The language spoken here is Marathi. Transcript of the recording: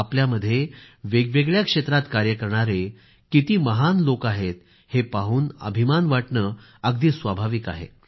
आपल्यामध्ये वेगवेगळ्या क्षेत्रात कार्य करणारे किती महान लोक आहेत हे पाहून अभिमान वाटणं स्वाभाविक आहे